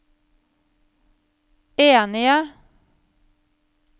enige